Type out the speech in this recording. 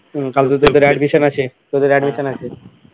হম কালকে তোদের admission আছে তোদের admission আছে